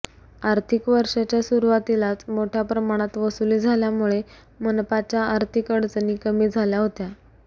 आर्थिक वर्षाच्या सुरुवातीलाच मोठ्या प्रमाणात वसुली झाल्यामुळे मनपाच्या आर्थिक अडचणी कमी झाल्या होत्या